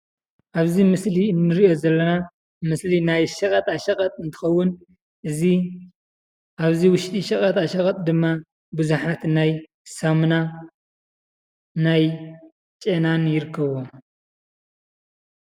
ኣብዚ ምስሊ እንሪኦ ዘለና ምስሊ ናይ ሸቐጣሸቐጥ እንትኸውን እዚ ኣብዚ ውሽጢ ሸጣሸቐጥ ድማ ብዙሓት ናይ ሳሙና ናይ ጨናን ይርከብዎም፡፡